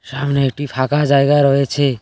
সামনে একটি ফাঁকা জায়গা রয়েছে।